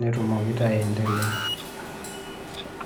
netumoki taa aendelea.